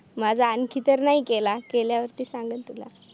माझा आणखी तर नाही केला केल्यावरती सांगन तुला